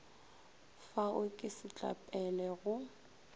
fa o ke setlapele go